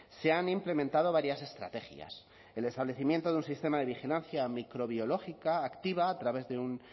se han implementado varias estrategias el establecimiento de un sistema de vigilancia microbiológica activa a través de un